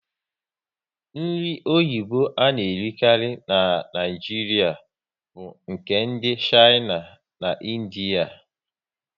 Nri oyibo a na erikari n'Naijiria bu nke ndị Shaina na Indiea